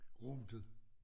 Rodet